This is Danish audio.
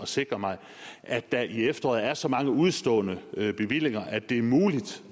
sikre mig at der i efteråret er så mange udestående bevillinger at det er muligt